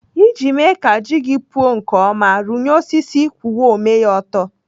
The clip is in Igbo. Iji mee ka ji gị puo nke ọma, rụnyere osisi kwụwa ome ya ọtọ.